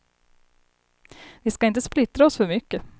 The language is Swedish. Vi ska inte splittra oss för mycket.